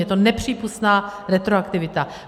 Je to nepřípustná retroaktivita.